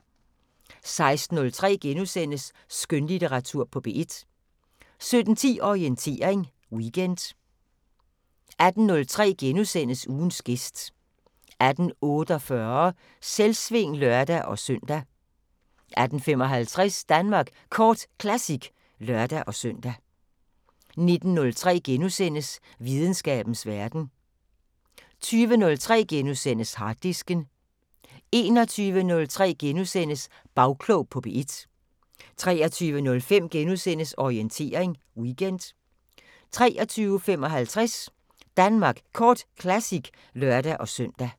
16:03: Skønlitteratur på P1 * 17:10: Orientering Weekend 18:03: Ugens gæst * 18:48: Selvsving (lør-søn) 18:55: Danmark Kort Classic (lør-søn) 19:03: Videnskabens Verden * 20:03: Harddisken * 21:03: Bagklog på P1 * 23:05: Orientering Weekend * 23:55: Danmark Kort Classic (lør-søn)